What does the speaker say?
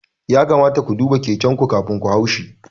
Ya kamata ku duba keken ku kafin ku haushi